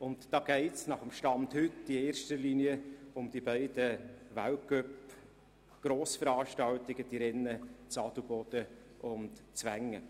Und da geht es, nach heutigem Stand, in erster Linie um die beiden Weltcup-Grossveranstaltungen, die SkiRennen in Adelboden und Wengen.